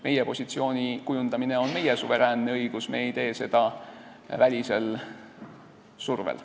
Meie positsiooni kujundamine on meie suveräänne õigus, me ei tee seda välisel survel.